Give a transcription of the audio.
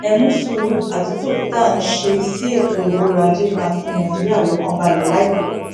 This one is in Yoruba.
ẹ mú sùúrù àtúntò tá à ń ṣe sí ètò ọrọajé máa fi nàìjíríà lọkàn balẹ láìpẹ